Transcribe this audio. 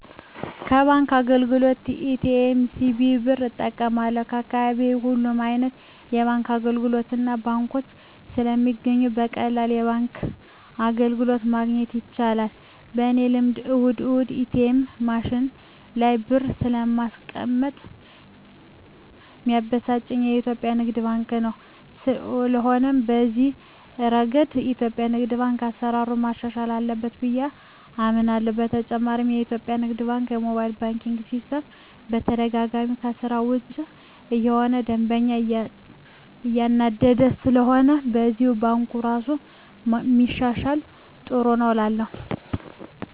ከባንክ አገልግሎት ኤ.ቲ.ኤም፣ ሲቪ ብር እጠቀማለሁ፣ በአካባቢየ ሁሉም አይነት የባንክ አገልግሎቶችና ባንኮች ስለሚገኙ በቀላሉ የባንክ አገልግሎት ማግኘት ይቻላል። በኔ ልምድ እሁድ እሁድ የኤትኤም ማሽኑ ላይ ብር ባለማስቀመጥ ሚያበሳጨኝ የኢትዮጲያ ንግድ ባንክ ነው። ስለሆነም በዚህ እረገድ የኢትዮጲያ ንግድ ባንክ አሰራሩን ማሻሻል አለበት ብየ አምናለሆ። በተጨማሪም የኢትዮጲያ ንግድ ባንክ የሞባይል ባንኪን ሲስተም በተደጋጋሚ ከስራ ውጭ እየሆነ ደንበኛን እያናደደ ስለሆነም በዚህም ባንኩ እራሱን ቢያሻሽል ጥሩ ነው እላለሁ።